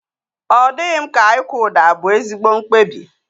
Ọ dịghị m ka ịkwụ ụdọ abu ezigbo mkpebi